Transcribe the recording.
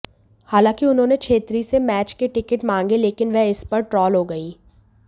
हालांकि उन्होंने छेत्री से मैच के टिकट मांगे लेकिन वह इस पर ट्रोल हो गईं